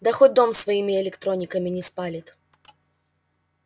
да хоть дом своими электрониками не спалит